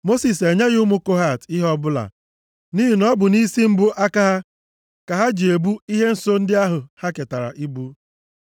Mosis enyeghị ụmụ Kohat ihe ọbụla nʼihi na ọ bụ nʼisi mbụ aka ha ka ha ji ebu ihe nsọ ndị ahụ ha ketara ibu.